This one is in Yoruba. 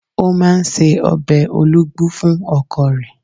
ó ń se obe olugbu fún ọkọ rẹ̀.